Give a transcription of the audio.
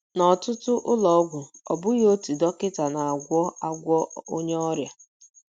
N’ọtụtụ ụlọ ọgwụ, ọ bụghị otu dọkịta na - agwọ agwọ onye ọrịa.